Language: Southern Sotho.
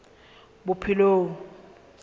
bophelong